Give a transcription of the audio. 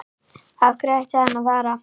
Af hverju ætti hann að fara?